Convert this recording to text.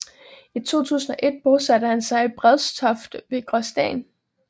I 2001 bosatte han sig i Brædstoft ved Gråsten